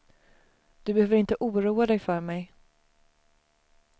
Du behöver inte oroa dig för mig.